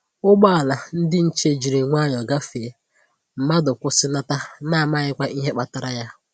Ụgbọala ndi nche jiri nwayọ gafee, mmadụ kwụsịnata na amaghịkwa ihe kpatara ya